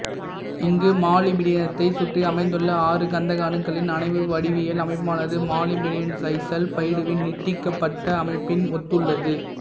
இங்கு மாலிப்டினியத்தை சுற்றி அமைந்துள்ள ஆறு கந்தக அணுக்களின் அணைவு வடிவியல் அமைப்பானது மாலிப்டினியம்டைசல்பைடுவின் நீட்டிக்கப்பட்ட அமைப்பினை ஒத்துள்ளது